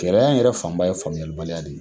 Kɛlɛya yɛrɛ fanba ye famiyalibaliya de ye.